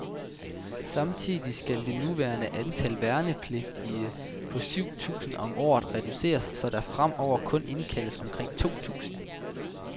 Samtidig skal det nuværende antal værnepligtige på syv tusind om året reduceres, så der fremover kun indkaldes omkring to tusinde.